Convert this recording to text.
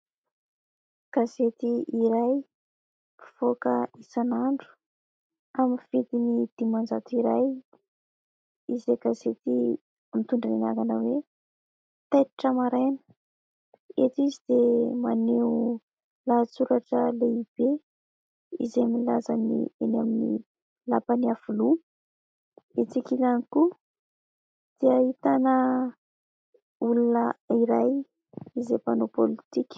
Gazety iray mpivoaka isanandro, amin'ny vidiny dimanjato iray, izay gazety mitondra ny anarana hoe « taitra maraina ». Eto izy dia maneho lahatsoratra lehibe izay milaza ny eny amin'ny lapan'Iavoloha. Etsy ankilany koa dia ahitana olona iray izay mpanao politika.